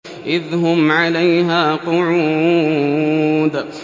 إِذْ هُمْ عَلَيْهَا قُعُودٌ